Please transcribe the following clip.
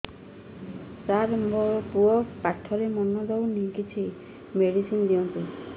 ସାର ମୋର ପୁଅ ପାଠରେ ମନ ଦଉନି କିଛି ମେଡିସିନ ଦିଅନ୍ତୁ